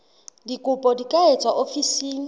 dikopo di ka etswa ofising